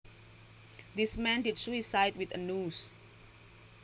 This man did suicide with a noose